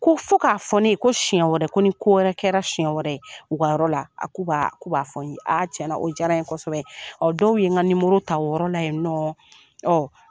Ko fo k'a fɔ ne ye ko siɲɛ wɛrɛ ko ni ko wɛrɛ kɛra siɲɛ wɛrɛ u ka yɔrɔ la k'u b'a k'u b'a fɔ n ye tiɲɛ yɛrɛla o diyara n kosɛbɛ ɔ dɔw ye n ŋa nimoro ta o yɔrɔla yen ninɔ ɔ